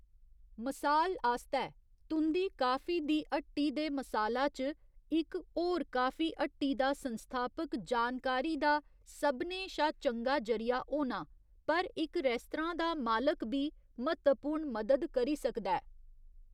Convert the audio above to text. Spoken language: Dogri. मसाल आस्तै, तुं'दी काफी दी हट्टी दे मसाला च इक होर काफी हट्टी दा संस्थापक जानकारी दा सभनें शा चंगा जरिया होना, पर इक रेस्तरां दा मालक बी म्हत्तवपूर्ण मदद करी सकदा ऐ।